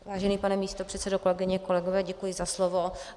Vážený pane místopředsedo, kolegyně, kolegové, děkuji za slovo.